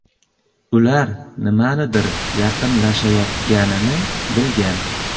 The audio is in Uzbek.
Ular nimadir yaqinlashayotganini bilgan.